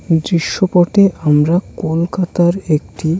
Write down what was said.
দৃশ পটে আমরা কলকাতার একটি--